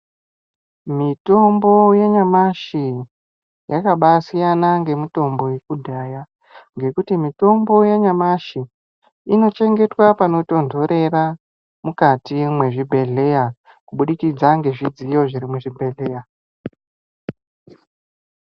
Mitombo yanyamashi yakabaasiyana ngemitombo yekudhaya ngekuti mutombo yanyamashi inochengetwa panotonhorera mukati mwezvibhedhleya kubudikidza ngezvidziyo zviri muchibhedhleya.